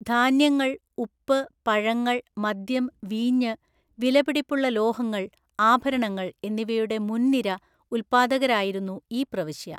ധാന്യങ്ങൾ, ഉപ്പ്, പഴങ്ങൾ, മദ്യം, വീഞ്ഞ്, വിലപിടിപ്പുള്ള ലോഹങ്ങൾ, ആഭരണങ്ങൾ എന്നിവയുടെ മുന്‍നിര ഉൽപ്പാദകരായിരുന്നു ഈ പ്രവിശ്യ.